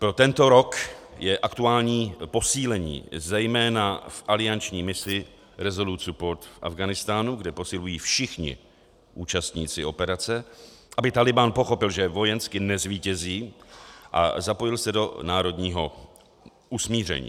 Pro tento rok je aktuální posílení zejména v alianční misi Resolute support v Afghánistánu, kde posilují všichni účastníci operace, aby Tálibán pochopil, že vojensky nezvítězí, a zapojil se do národního usmíření.